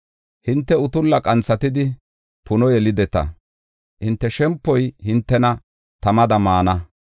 Hinte utulla qanthatidi puno yelideta; hinte shempoy hintena tamada maana.